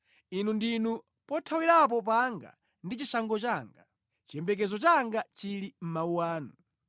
Inu ndinu pothawirapo panga ndi chishango changa; chiyembekezo changa chili mʼmawu anu.